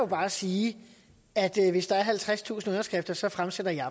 bare sige at hvis der er halvtredstusind underskrifter så fremsætter jeg